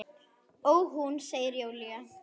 Ó, hún, segir Júlía.